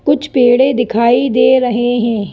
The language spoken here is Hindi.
कुछ पेड़े दिखाई दे रहे हैं।